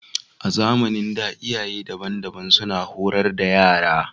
A zamanin da, iyaye daban-daban suna horar da yara